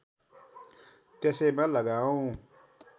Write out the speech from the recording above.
त्यसैमा लगाऔँ